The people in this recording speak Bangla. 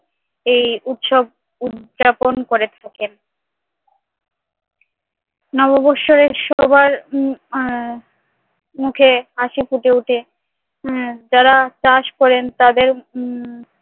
এই উৎসব উদযাপন করে থাকেন নববর্ষের সবার উম আহ মুখে হাসি ফুটে উঠে। হ্যাঁ যারা চাষ করেন তাদের উম